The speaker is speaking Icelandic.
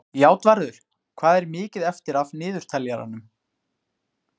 Játvarður, hvað er mikið eftir af niðurteljaranum?